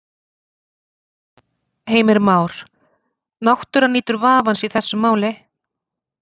Heimir Már: Náttúran nýtur vafans í þessu máli?